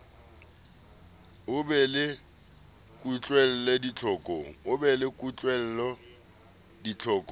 a be le kutlwelo ditlhokong